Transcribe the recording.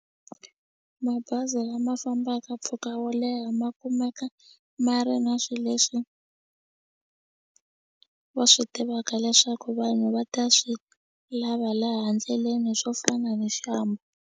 Mabazi lama fambaka mpfhuka wo leha ma kumeka ma ri na swi leswi va swi tivaka leswaku vanhu va ta swi lava laha ndleleni swo fana ni .